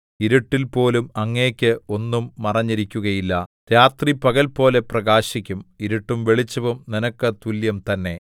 ഇരുട്ടിൽപോലും അങ്ങേക്ക് ഒന്നും മറഞ്ഞിരിക്കുകയില്ല രാത്രി പകൽപോലെ പ്രകാശിക്കും ഇരുട്ടും വെളിച്ചവും നിനക്ക് തുല്യം തന്നെ